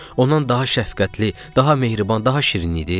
Ondan daha şəfqətli, daha mehriban, daha şirin idi?